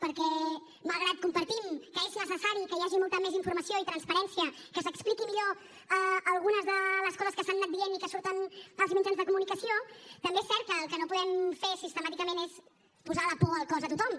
perquè malgrat que compartim que és necessari que hi hagi molta més informació i transparència que s’expliquin millor algunes de les coses que s’han anat dient i que surten als mitjans de comunicació també és cert que el que no podem fer sistemàticament és posar la por al cos a tothom